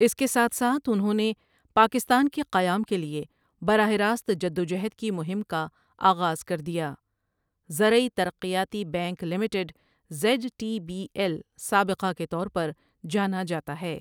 اسی کے ساتھ ساتھ انہوں نے پاکستان کے قیام کے لیے براہ راست جدوجہد کی مہم کا آغاز کر دیا زرعی ترقیاتی bank limited Z T B L سابقہ کے طور پر جانا جاتا ہے ۔